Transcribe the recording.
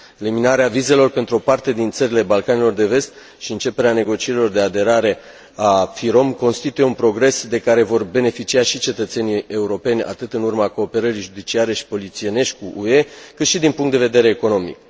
Eliminarea vizelor pentru o parte din țările Balcanilor de Vest și începerea negocierilor de aderare a FIROM constituie un progres de care vor beneficia și cetățenii europeni atât în urma cooperării judiciare și polițienești cu UE, cât și din punct de vedere economic.